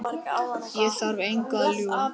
Ég þarf engu að ljúga.